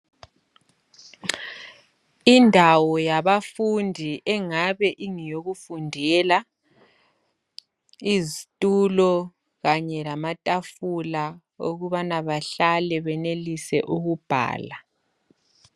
Indawo yabafundi engabe ingeyokufundela izitulo kanye lamatafula ukubana behlale benelise ukubhala